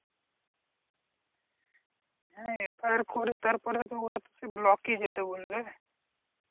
হ্যাঁ FIR করে তারপরে তো ওর block এ যেতে বলবে।